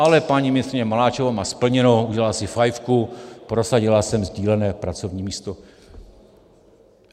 Ale paní ministryně Maláčová má splněno, udělala si fajfku: prosadila jsem sdílené pracovní místo.